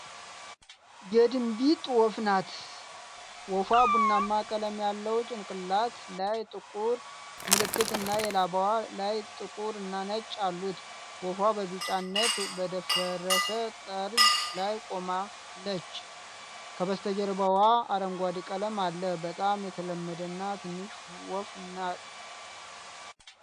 የድንቢጥ ወፍ ናት። ወፏ ቡናማ ቀለም ያለው ጭንቅላት፣ ላይ ጥቁር ምልክት እና የላባው ላይ ጥቁር እና ነጭ አሉት። ወፏ በቢጫነት በደፈረሰ ጠርዝ ላይ ቆማለጭ ከበስተጀርባው አረንጓዴ ቀለም አለ። በጣም የተለመደ እና ትንሽ ወፍ ናጥ